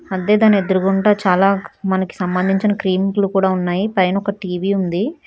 అంటే దానెదుగుంట చాలా మనకు సంబంధించిన క్రీంలు కూడా ఉన్నాయి పైన ఒక టీ_వీ ఉంది.